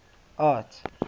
art